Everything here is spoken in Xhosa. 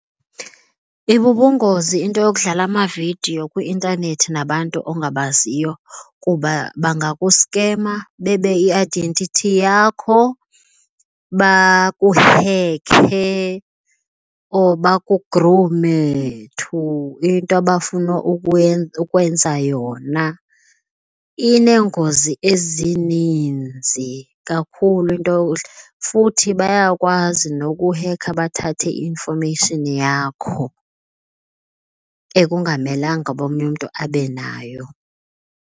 Ibubungozi into yokudlala amavidiyo kwi-intanethi nabantu ongabaziyo kuba bangakuskema bebe i-identity yakho, bakuhekhe or bakugrume to into abafuna ukwenza yona. Ineengozi ezininzi kakhulu into, futhi bayakwazi nokuhekha bathathe i-information yakho ekungamelanga uba omnye umntu abe nayo.